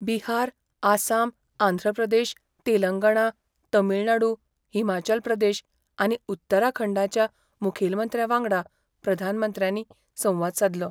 बिहार, आसाम, आंध्र प्रदेश, तेलंगणा, तामीळनाडू, हिमाचाल प्रदेश आनी उत्तराखंडाच्या मुखेलमंत्र्या वांगडा प्रधानमंत्र्यांनी संवाद सादलो.